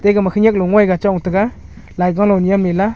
te gama khenyak ngoga chong taiga laigano nyem lela.